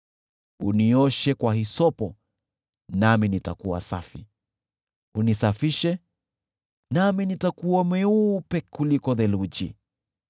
Nioshe kwa hisopo, nami nitakuwa safi, unisafishe, nami nitakuwa mweupe kuliko theluji.